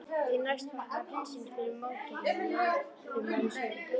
Því næst þakkaði prinsinn fyrir móttökurnar á móðurmáli sínu.